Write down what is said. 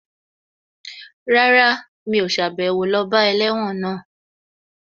Rárá, mi ò sàbẹ̀wo lọ bá ẹlẹ́wọ̀n náà